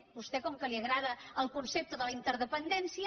a vostè com que li agrada el concepte de la interdependència